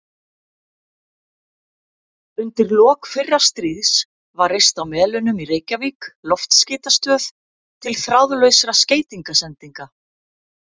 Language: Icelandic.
Undir lok fyrra stríðs var reist á Melunum í Reykjavík loftskeytastöð til þráðlausra skeytasendinga.